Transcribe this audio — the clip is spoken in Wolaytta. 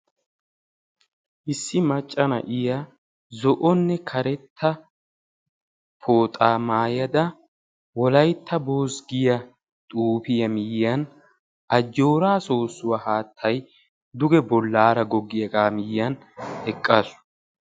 Issi macca na'iya zo'onne karetta pooxaa mayada "wolayitta boos" giya xuufiya miyyiyan ajjoora soossuwa haattay duge bollaara goggiyagaa miyyiyan eqqaasu.